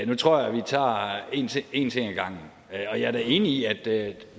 nu tror jeg vi tager en ting ad gangen og jeg er da enig i at